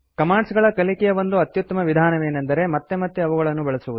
commands ಗಳ ಕಲಿಕೆಯ ಒಂದು ಅತ್ಯುತ್ತಮ ವಿಧಾನವೇನೆಂದರೆ ಮತ್ತೆ ಮತ್ತೆ ಅವುಗಳನ್ನು ಬಳಸುವುದು